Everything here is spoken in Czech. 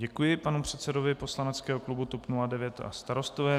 Děkuji panu předsedovi poslaneckého klubu TOP 09 a Starostové.